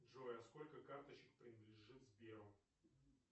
джой а сколько карточек принадлежит сберу